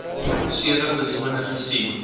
sewe persone gesien